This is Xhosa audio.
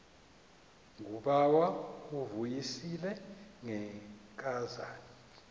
ngubawo uvuyisile ngenkazana